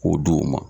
K'o di u ma